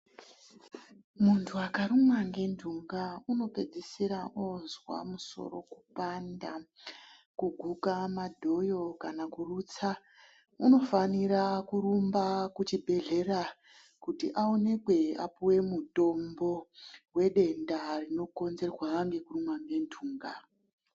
Munthu akarumwa ngenthunga unopedzisira oozwa musoro kupanda , kuguka madhoyo kana kurutsa unofanira kurumba kuchibhedhlera kuti aonekwe apuwe mutombo wedenda rinokonzerwa ngekurumwa ngentunga.